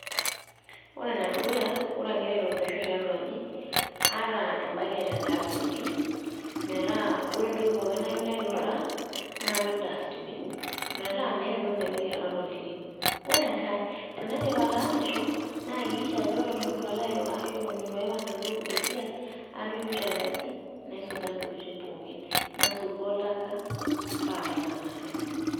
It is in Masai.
Ore ene dukuya ore agira aitobirisho tiatua aji, aata e bucket e dustbin meeta ore entoki pooki nayieu naituraa napik dustbin metaa entoki naitoki airrag to iltirren. Ore enkae tenaidip ataasisho na hakikisha ajo ore eton itu alo airura ashu eton eitu aipang alo esiai atujuto enkaji naisuja ntokitin pookin nasotu oltaka paa kaipang alo.